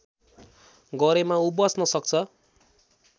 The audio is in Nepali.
गरेमा ऊ बच्न सक्छ